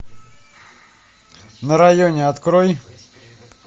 на районе открой